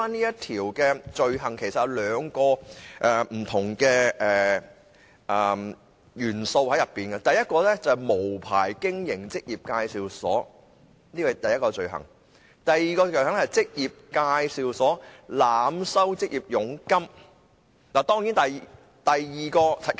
有關罪行其實包含兩個元素：第一項是無牌經營職業介紹所；第二項是職業介紹所濫收求職者佣金。